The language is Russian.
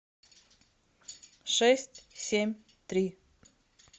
шесть семь три